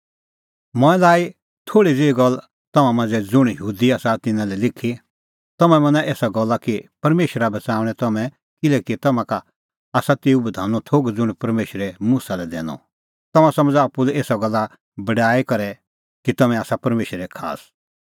मंऐं लाई इधी थोल़ी ज़ेही गल्ला तम्हां मांझ़ै ज़ुंण यहूदी आसा तिन्नां लै लिखी तम्हैं मना एसा गल्ला कि परमेशरा बच़ाऊंणै तम्हैं किल्हैकि तम्हां का आसा तेऊ बधानो थोघ ज़ुंण परमेशरै मुसा लै दैनअ तम्हैं समझ़ा आप्पू लै एसा गल्ले बड़ाई कि तम्हैं आसा परमेशरे खास